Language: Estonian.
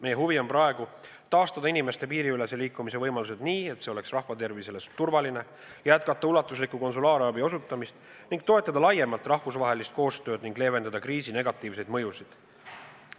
Meie huvi on praegu taastada inimeste piiriülese liikumise võimalused nii, et see oleks inimestele turvaline, jätkata ulatusliku konsulaarabi osutamist ning toetada laiemalt rahvusvahelist koostööd ning leevendada kriisi negatiivseid mõjusid.